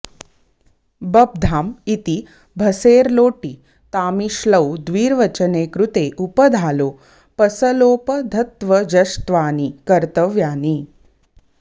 बब्धाम् इति भसेर् लोटि तामि श्लौ द्विर्वचने कृते उपधालोपसलोपधत्वजश्त्वानि कर्तव्यानि